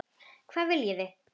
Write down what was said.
Hvað viljið þið!